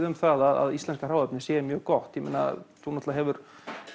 um það að íslenska hráefnið sé mjög gott og þú hefur